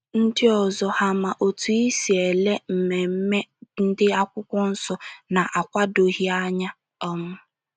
Ndị ọzọ hà ma otú ị si ele ememme ndị Akwụkwọ Nsọ na - akwadoghị anya um?